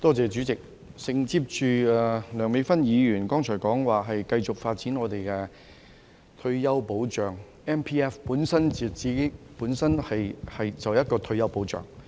代理主席，承接梁美芬議員剛才說繼續發展我們的退休保障 ，MPF 本身就是一個退休保障。